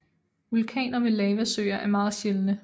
Vulkaner med lavasøer er meget sjældne